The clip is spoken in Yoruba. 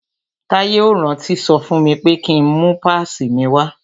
Táyé ò rántí sọ fún mi pé ki ń mú pásìì mi wá.